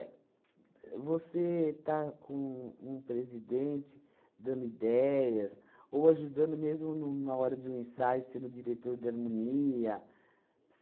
É você estar com um um presidente, dando ideias, ou ajudando mesmo numa hora de um ensaio, sendo diretor de harmonia.